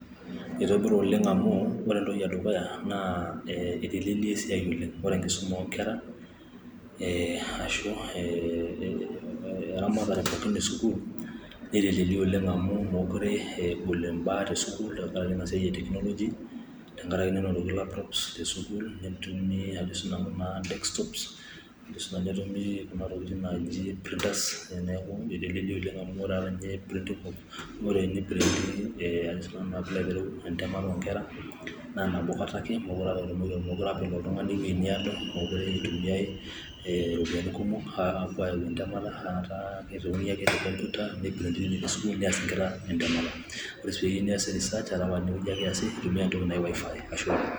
Itobira oleng' amu ore entoki edukuya naa itelelia esiai oleng', ore enkisuma oonkerra ashu eramatare pookin e sukuul netelelia oleng' amu meekure egol mbaa tesukul tenkaraki ina siai e teknoloji, tenkaraki nenotoki laptops tesukuul, netumi kuna tokitin naaji printers neeku etelelia oleng' amu ore naa printing entemata oonkera naa nabo kata ake meekure apa elo oltung'ani ewueji naado , meekure itumiyai iropiyiani kumok aapuo aayau entemata, kitayuni ake te sukuul nees inkera entemata, ore sii teniyieu niasie research tinewueji ake iyasie intumia entoki anji Wifi.